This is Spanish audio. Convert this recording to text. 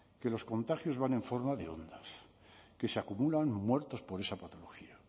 que los contagios van en forma de ondas que se acumulan muertos por esa patología